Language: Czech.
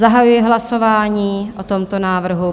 Zahajuji hlasování o tomto návrhu.